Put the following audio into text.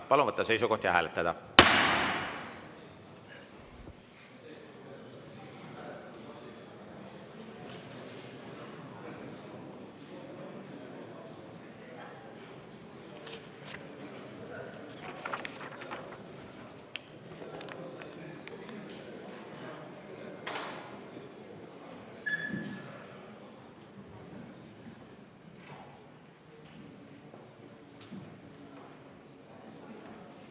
Palun võtta seisukoht ja hääletada!